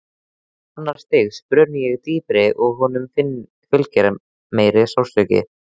Annars stigs bruni er dýpri og honum fylgir meiri sársauki.